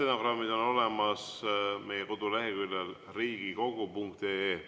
Stenogrammid on olemas meie koduleheküljel riigikogu.ee.